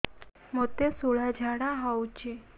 ମୋତେ ଶୂଳା ଝାଡ଼ା ହଉଚି